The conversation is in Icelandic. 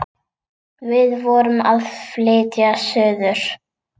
Við vorum að flytja suður.